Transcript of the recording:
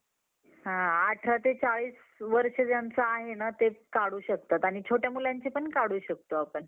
cricket मध्ये माझा सर्वात आवडता player रोहित शर्माने एकदिवसीय cricket मध्ये सर्वात जास्त run केले आहेत रोहित शर्माने